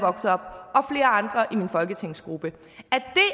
andre i min folketingsgruppe